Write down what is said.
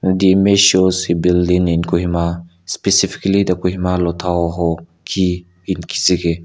the image shows a building in kohima specifically the kohima lotha hoho ki inkezike.